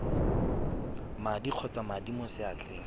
madi kgotsa madi mo seatleng